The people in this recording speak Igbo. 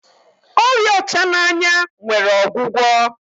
ọrịa ọchananya nwere ogwugwo